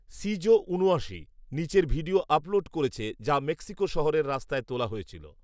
শিজো ঊনআশি নীচের video upload করেছে যা মেক্সিকো শহরের রাস্তায় তোলা হয়েছিল